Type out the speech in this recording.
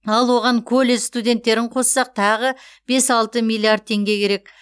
ал оған колледж студенттерін қоссақ тағы бес алты миллиард теңге керек